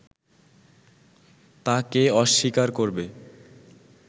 তা কে অস্বীকার করবে